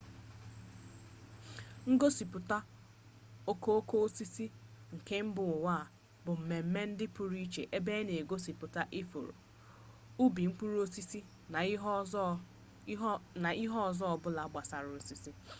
ngosipụta okooko osisi nke mba ụwa bụ mmemme ndị pụrụ iche ebe a na-egosipụ ifuru ubi mkpụrụ osisi na ihe ọzọ ọbụla gbasara osisi